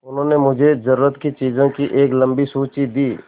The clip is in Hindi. उन्होंने मुझे ज़रूरत की चीज़ों की एक लम्बी सूची दी